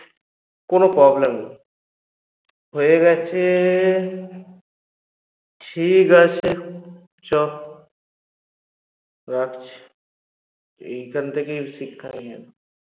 কোনো problem নেই হেয়ে গেছে ঠিকাছে সব রাখছি এখান থেকেই শিক্ষা নিয়ে নাও